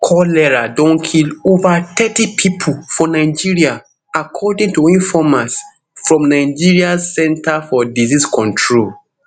cholera don kill kill ova thirty pipo for nigeria according to informate from nigeria centre for disease control